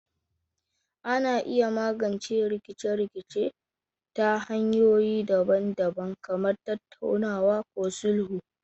Ana iya magance rikice-rikice ta hanyoyi daban-daban kamar tattaunawa ko sulhu.